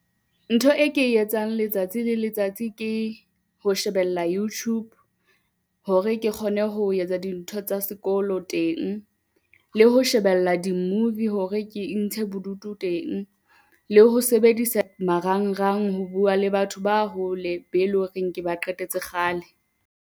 Ntho e ke e etsang letsatsi le letsatsi ke ho shebella YouTube hore ke kgone ho etsa dintho tsa sekolo teng le ho shebella di-movie hore ke intshe bodutu teng, le ho sebedisa marangrang ho bua le batho ba hole be le horeng ke ba qetetse kgale.